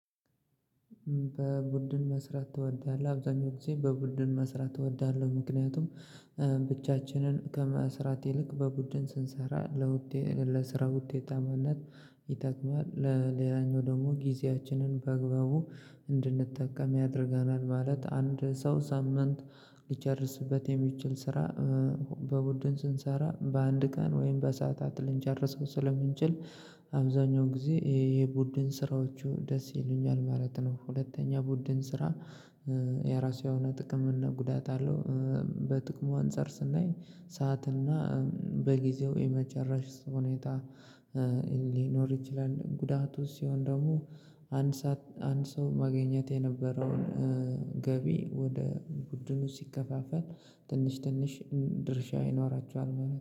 በቡድን መስራት ትወዳለህ? አብዛኛው ጊዜ በቡድን መስራት እወዳለህ ምክንያቱም ብቻችንን ከመስራት ይልቅ በቡድን ስንሰራ ለውጤት ለስራ ውጤትአማናት ይጠቅማል ለሌላኛው ደግሞ ጊዜያችንን በአግባቡ እንድንጠቀም ያደርገናል ማለት አንድ ሰው ሳምንት ሊጨርስበት የሚችል ስራ በቡድን ስንሰራ በአንድ ቀን ወይም በሰአታት ልንጨርሰው ስለምንችል አብዛኛው ጊዜ ይሄ የቡድን ስራዎቹ ደስ ይሉኛል ማለት ነው። ሁለተኛ ቡድን ስራ የራሱ የሆነ ጥቅም እና ጉዳት አለው። በጥቅሙ አንፃር ስናይ ሰዓትና በጊዜው የመጨረስ ሁኔታ ሊኖር ይችላል። ጉዳቱ ሲሆን ደግሞ አንድ ሰዓት አንድ ሰው ማገኘት የነበረውን ገቢ ወደ ቡድኑ ሲከፋፈል ትንሽ ትንሽ ድርሻ ይኖራቸዋል ማለት